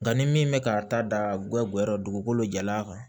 Nka ni min bɛ ka ta da goya goya dugukolo jalan kan